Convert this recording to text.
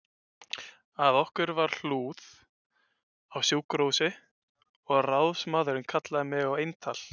Að okkur var hlúð á sjúkrahúsi og ráðsmaðurinn kallaði mig á eintal